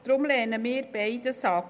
Deshalb lehnen wir beides ab.